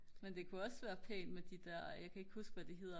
men det kunne også være pænt med de der jeg kan ikke huske hvad de hedder